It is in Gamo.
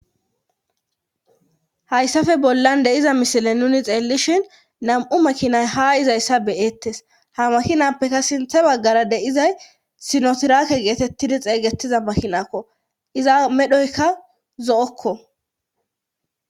hayssafe bollan deiza misile nuni xeellishhin nam''u makinay ha izayssa beyettes. ha makinappeka sinthe baggara deizay sinotirake geetettidi xeeygetiza makinakko iza medhoyka zo'okko